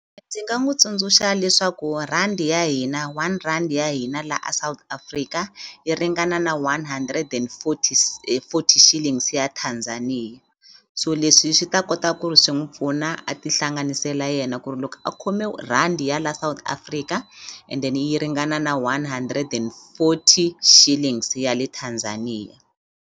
Ndzi nga n'wi tsundzuxa leswaku rhandi ya hina one rhandi ya hina la a South Africa yi ringana na one hundred and forty forty shilling ya Tanzania so leswi swi swi ta kota ku ri swi n'wi pfuna a ti hlanganisela yena ku ri loko a khome rhandi ya la South Africa and then yi ringana na one hundred and forty shillings ya le Tanzania.